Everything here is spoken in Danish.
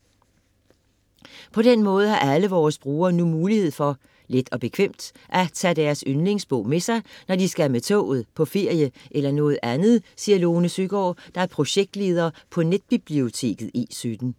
- På den måde har alle vores brugere nu mulighed for - let og bekvemt - at tage deres yndlingsbog med sig, når de skal med toget, på ferie eller noget andet, siger Lone Søgaard, der er projektleder på netbiblioteket E17.